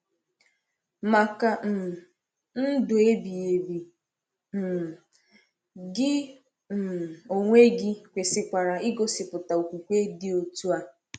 Maka um ndụ ebighị ebi, um gị um onwe gị kwesịkwara igosipụta okwukwe dị otu a.